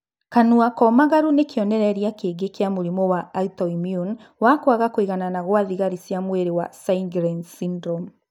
Kanua komagaru nĩ kĩonereria kĩngĩ kĩa mũrimũ wa autoimmune wa kwaga kũiganana gwa thigari cia mwĩrĩ wa Sjgren's syndrome